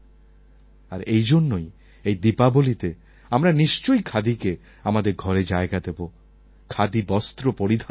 আর এই জন্যই এই দীপাবলিতে আমরা নিশ্চয়ই খাদিকে আমাদের ঘরে জায়গা দেব খাদিবস্ত্র পরিধান করব